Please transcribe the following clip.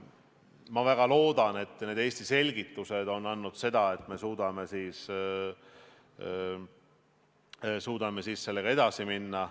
Ma väga loodan, et Eesti selgitused on andnud tulemuseks selle, et me suudame selle projektiga edasi minna.